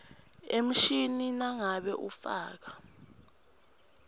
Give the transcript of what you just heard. emishini nangabe ufaka